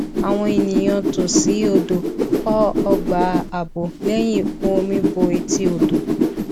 àwọn ènìyàn tòsí odò kọ ọgbà ààbò lẹyìn ìkún omi bo etí odò